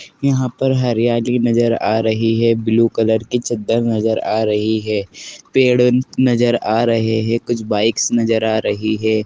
यहां पर हरियाली नजर आ रही है ब्लू कलर की चद्दर नजर आ रही है पेड़ नजर आ रहे हैं कुछ बाइक्स नजर आ रही है।